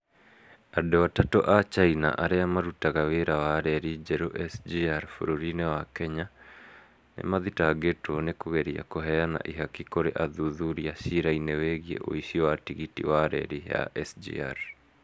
Andũ atatũ a China arĩa marutaga wĩra wa reri njerũ SGR bũrũri-inĩ wa Kenya, nĩ maathitangĩtwo nĩ kũgeria kũheana ihaki kũrĩ athuthuria ciira-inĩ wĩgiĩ ũici wa tigiti wa reri ya SGR.